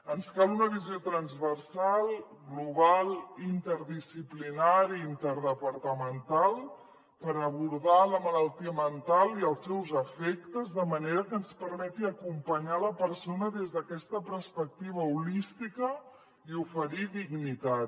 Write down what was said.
ens cal una visió transversal global interdisciplinària i interdepartamental per abordar la malaltia mental i els seus efectes de manera que ens permeti acompanyar la persona des d’aquesta perspectiva holística i oferir dignitat